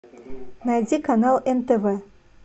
найди канал нтв